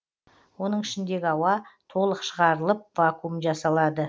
оның ішіндегі ауа толық шығарылып вакуум жасалады